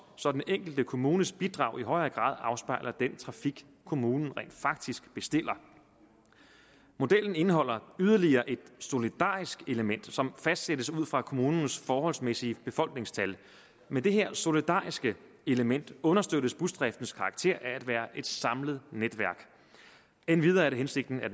så den enkelte kommunes bidrag i højere grad afspejler den trafik kommunen rent faktisk bestiller modellen indeholder yderligere et solidarisk element som fastsættes ud fra kommunens forholdsmæssige befolkningstal med det her solidariske element understøttes busdriftens karakter af at være et samlet netværk endvidere er det hensigten at